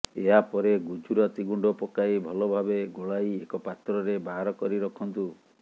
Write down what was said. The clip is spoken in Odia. ଏହା ପରେ ଗୁଜୁରାତି ଗୁଣ୍ଡ ପକାଇ ଭଲଭାବେ ଗୋଳାଇ ଏକ ପାତ୍ରରେ ବାହାର କରି ରଖନ୍ତୁ